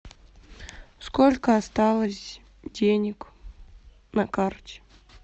сколько осталось денег на карте